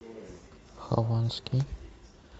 хованский